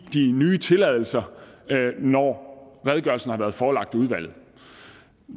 nye tilladelser når redegørelsen har været forelagt udvalget